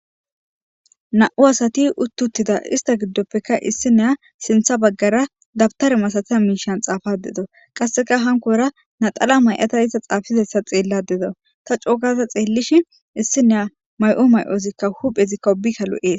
Namu asati utti uttida issita gidoppekka issinoya sinththa baggara dabitera misayiza mishshani xaafada dawusi qasekka hanikkora laxanamayada iza xaafizayisa xeelada dawusi ta coo gada xeliishin issiniya mayo mayozikka huphezikka ubbay loeesi